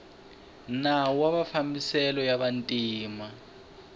nawu wa mafambiselo ya vantima